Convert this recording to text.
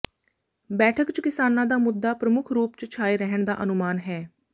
ਬੈਠਕ ਚ ਕਿਸਾਨਾਂ ਦਾ ਮੁੱਦਾ ਪ੍ਰਮੁੱਖ ਰੂਪ ਚ ਛਾਏ ਰਹਿਣ ਦਾ ਅਨੁਮਾਨ ਹੈ